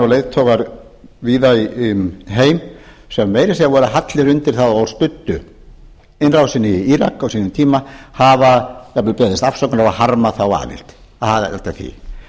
leiðtogar víða um heim sem meira að segja voru hallir undir það og studdu innrásina í írak á sínum tíma hafa jafnvel beðist afsökunar og harmað aðild að því